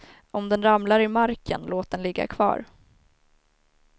Om den ramlar i marken, låt den ligga kvar.